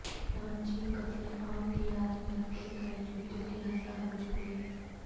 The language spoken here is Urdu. نانجنگ قتل عام کی یاد میں رکھے گئے جوتوں کے ہزاروں جوڑے